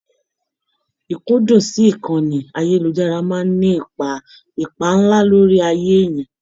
Ikundun sí ìkànnì ayelujara máa n ní ipá nlá lórí ayé èèyàn.